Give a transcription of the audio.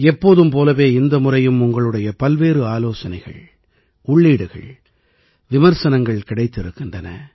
எப்போதும் போலவே இந்த முறையும் உங்களுடைய பல்வேறு ஆலோசனைகள் உள்ளீடுகள் விமர்சனங்கள் கிடைத்திருக்கின்றன